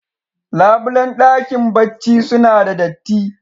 Labulen dakin barci suna da datti.